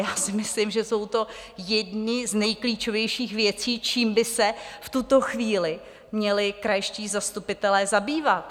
Já si myslím, že jsou to jedny z nejklíčovějších věcí, čím by se v tuto chvíli měli krajští zastupitelé zabývat.